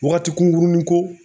Wagati kunkurunin ko